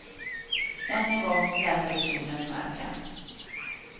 Än en gång släpade kjolen i marken.